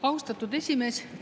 Austatud esimees!